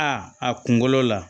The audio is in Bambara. A kunkolo la